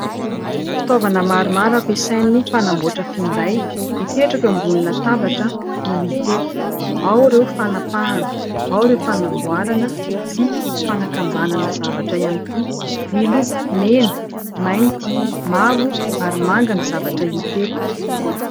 Fitaovana maromaro ampiasain'ny mpanamboatra finday, mipetraka eo ambonin'ny latabatra no hita eto. Ao ireo fanapahana, ao ireo fanamboarana sy fanakambanana zavatra ihany koa. Miloko : mena, mainty, mavo ary manga ny zavatra hita eto.